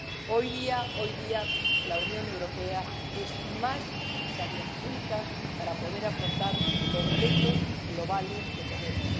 Hoy día, la Unión Europea es más necesaria que nunca para poder afrontar los retos globales que tenemos.